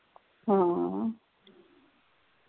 ਹਾਂ